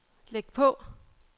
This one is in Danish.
læg på